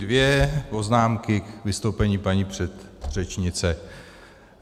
Dvě poznámky k vystoupení paní předřečnice.